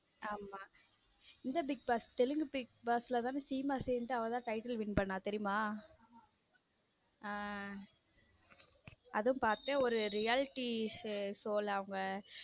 ஆம இந் bigboss Telugu bigboss ல தானே சீமா சேர்ந்து அவ தான் title win பண்ணா தெரியுமா ஹம் அதுவும் பார்த்தேன் ஒரு reality show அவங்க.